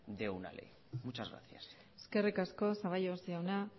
de una ley muchas gracias eskerrik asko zaballos jauna